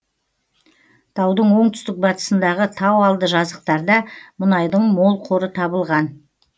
таудың оңтүстік батысындағы тау алды жазықтарда мұнайдың мол қоры табылған